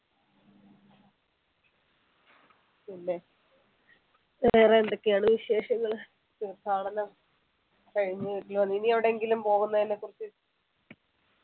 പിന്നെ വേറെ എന്തൊക്കെയാണ് വിശേഷങ്ങൾ തീർത്ഥാടനം കഴിഞ്ഞ് വന്നു. ഇനി എവിടെങ്കിലും പോകുന്നതിനെ കുറിച്ച്